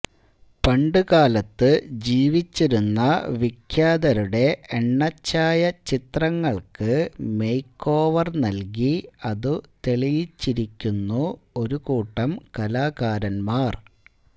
പണ്ടു കാലത്തു ജിവിച്ചിരുന്ന വിഖ്യാത രുടെ എണ്ണച്ചായ ചിത്രങ്ങൾക്കു മേക്ക് ഓവർ നൽകി അതു തെളിയിച്ചിരിക്കുന്നു ഒരു കൂട്ടം കലാകാരന്മാർ